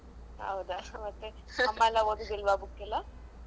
ಹೌದಾ ಮತ್ತೆ. ಅಮ್ಮಯೆಲ್ಲ ಓದುದಿಲ್ವ book ಎಲ್ಲ.